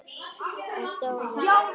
Og hún stóð við það.